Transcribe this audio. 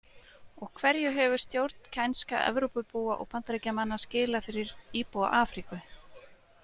Og hverju hefur stjórnkænska Evrópubúa og Bandaríkjamanna skilað fyrir íbúa Afríku?